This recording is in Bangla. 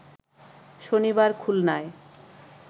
শনিবার খুলনায়